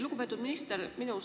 Lugupeetud minister!